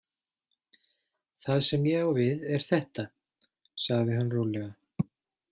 Það sem ég á við er þetta, sagði hann rólega.